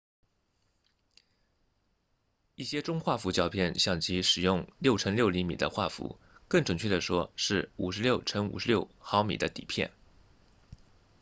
一些中画幅胶片相机使用 6x6cm 的画幅更准确地说是 56x56mm 的底片